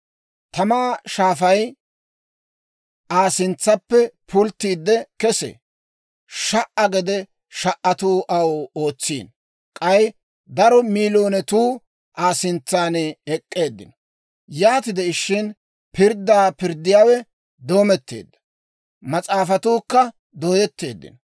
Tamaa shaafay Aa sintsaappe pulttiide kesee. Sha"a gede sha"atuu aw ootsiino; k'ay daro miiloonetuu Aa sintsan ek'k'eeddino. Yaati de'ishin pirddaa pirddiyaawe doometteedda; mas'aafatuukka dooyetteeddino.